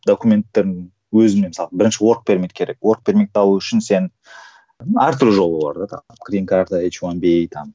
документтің өзіне мысалы бірінші керек алу үшін сен әртүрлі жолы бар